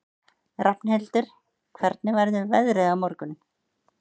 Rafnhildur, hvernig verður veðrið á morgun?